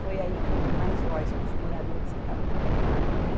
Foi aí que eu dei mais voz para os moradores que estavam do meu lado, né?